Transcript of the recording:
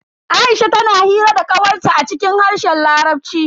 Aisha tana hira da kawar ta a cikin harshen larabci.